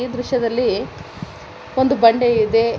ಈ ದೃಶ್ಯದಲ್ಲಿ ಒಂದು ಬಂಡೆಯು ಇದೆ.